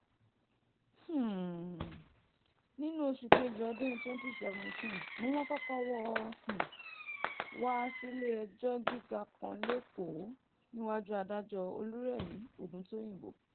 um nínú oṣù kejì ọdún twenty seventeen ni wọ́n kọ́kọ́ wò um ó wá sílé-ẹjọ́ gíga kan lẹ́kọ̀ọ́ níwájú adájọ́ olúrẹmi ògùntóyìnbó